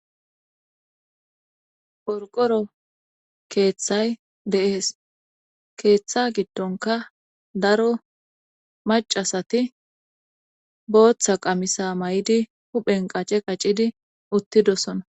porqoro keeththay deees keeththa gidtonka daro macasati booththa qamisa may7di huphen qace qaccidi uttidosona